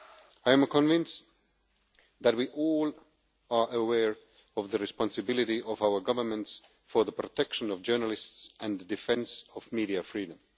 I am convinced that we are all aware of the responsibility of our governments for the protection of journalists and the defence of media freedom.